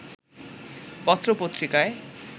পত্র-পত্রিকায়